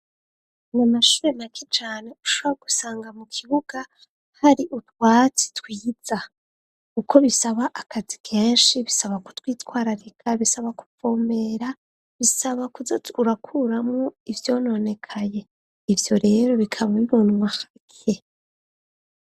Mu mashube makijane ushaw gusanga mu kibuga hari urwatsi twiza uko bisaba akazi kenshi bisaba kutwitwarareka bisaba kupfomera bisaba kuza urakuramwo ivyononekaye ivyo rero bikaba bibonwa hake.